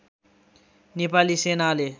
नेपाली सेनाले